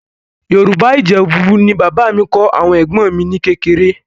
Yorùbá Ìjẹ̀bú ni bàbá mi kọ́ àwọn ẹ̀gbọ́n mi ní kékeré